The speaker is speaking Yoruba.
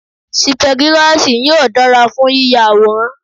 Sípẹ́girasì yóò dára fún yíya àwòrán.